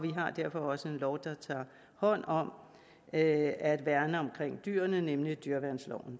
har derfor også en lov der tager hånd om at at værne om dyrene nemlig dyreværnsloven